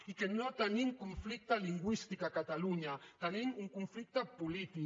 i que no tenim conflicte lingüístic a catalunya tenim un conflicte polític